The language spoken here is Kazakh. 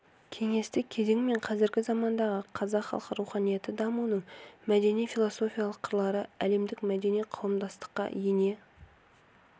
кеңестік кезең мен қазіргі замандағы қазақ халқы руханияты дамуының мәдени-философиялық қырлары әлемдік мәдени қауымдастыққа ене